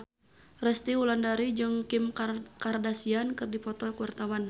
Resty Wulandari jeung Kim Kardashian keur dipoto ku wartawan